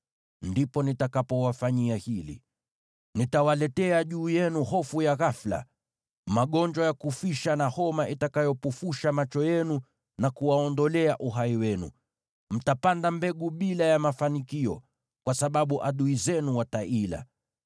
ndipo nitakapowafanyia hili: Nitawaletea juu yenu hofu ya ghafula, magonjwa ya kufisha, na homa itakayopofusha macho yenu na kuwaondolea uhai wenu. Mtapanda mbegu bila mafanikio, kwa sababu adui zenu wataila.